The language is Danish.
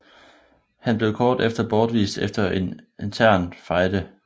Han blev kort efter bortvist efter en intern fejde